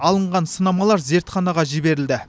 алынған сынамалар зертханаға жіберілді